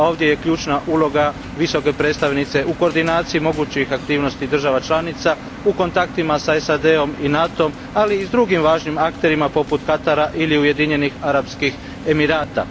Ovdje je ključna uloga Visoke predstavnice u koordinaciji mogućih aktivnosti država članica, u kontaktima sa SAD om i NATO om, ali i s drugim važnim akterima poput Katara ili Ujedinjenih Arapskih Emirata.